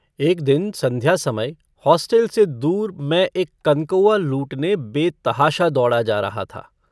एक दिन सन्ध्या समय होस्टल से दूर मैं एक कनकौआ लूटने बेतहाशा दौड़ा जा रहा था।